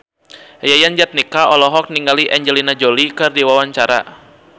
Yayan Jatnika olohok ningali Angelina Jolie keur diwawancara